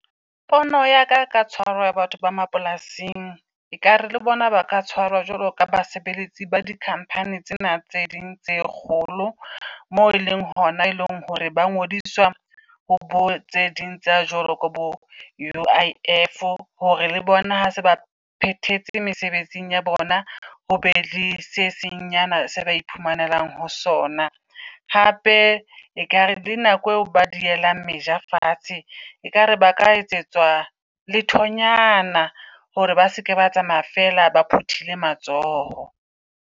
Pono ya ka ka tshwarwo batho ba mapolasing, e kare le bona ba ka tshwarwa jwalo ka basebeletsi ba di-company tsena tse ding tse kgolo. Moo e leng hona e leng hore ba ngodiswa ho bo tse ding tsa jwalo ko bo U_I_F, hore le bona ha se ba phethetse mesebetsing ya bona, ho be le se seng nyana se ba iphumanelang ho sona. Hape e kare le nako eo ba dielang meja fatshe, e kare ba ka etsetswa lethonyana hore ba se ke ba tsamaya feela, ba phuthile matsoho.